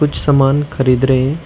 कुछ सामान खरीद रहे हैं।